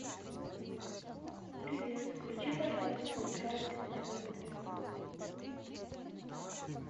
привет включи пожалуйста ужастик на тв три